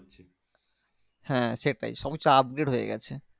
হ্যাঁ সেটাই সবকিছু upgrade হয়ে গেছে